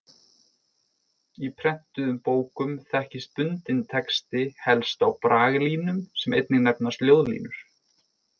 Í prentuðum bókum þekkist bundinn texti helst á braglínum sem einnig nefnast ljóðlínur.